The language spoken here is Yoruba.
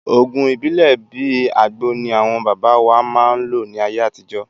Òògùn ibilẹ bìí àgbo ní àwọn baba wá máa ń lò ní ayé àtijó